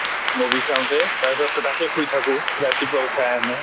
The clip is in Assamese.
movie চাওতে, তাৰ পিছ্ত তো তাত শুই থাকো। ৰাতিপুৱা উঠাই আনে।